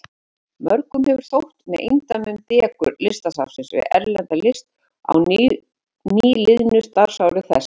Mörgum hefur þótt með eindæmum dekur Listasafnsins við erlenda list á nýliðnu starfsári þess.